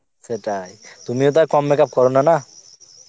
সেটাই তুমিও তো আর কম makeup করনা না